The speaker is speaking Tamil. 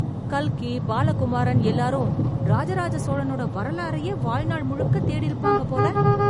கல்கி, பாலகுமாரன் எல்லாரும் ராஜ ராஜ சோழனோட வரலாறயே வாழ்நாள் முழுக்க தேடிருப்பாங்க போல.